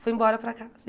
Foi embora para casa.